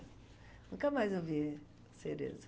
Nunca mais eu vi Cerezo.